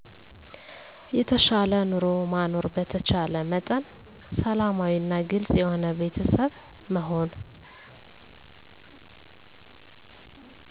የተሻለ ኑሮ ማኖር በተቻለ መጠን ሰላማዊ እና ግልፅ የሆነ ቤተሰብ መሆን